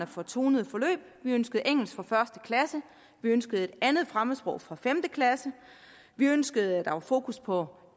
for tonede forløb vi ønskede engelsk fra første klasse vi ønskede et andet fremmedsprog fra femte klasse vi ønskede at der var fokus på